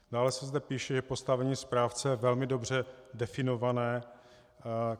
Dále se zde píše, že postavení správce je velmi dobře definované.